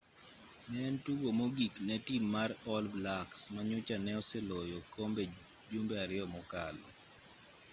ne en tugo mogik ne tim mar all blacks ma nyocha ne oseloyo okombe jumbe ariyo mokalo